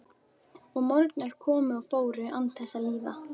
Og morgnar komu og fóru án þess að líða.